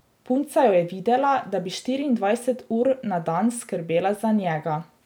Punca jo je videla, da bi štiriindvajset ur na dan skrbela za njega.